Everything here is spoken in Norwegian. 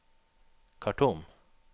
Khartoum